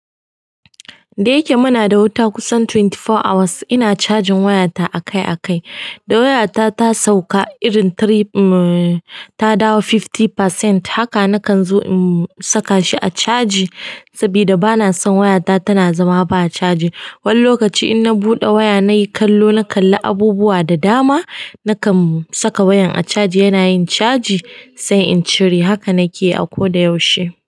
Da yake muna da wuta kusan twenty four hours, ina cajin wayata akai-akai. Idan wata ta sauka, ta dawo hamsin cikin ɗari haka nakan zo in sakashi a chaji sabida bana son wayata tana zama ba chaji. Wani lokaci in na buɗe waya nayi kallo, na kalli abubuwa da dama, nakan saka wayan a caji yana yin caji sai in cire. Haka na ke a koda yaushe.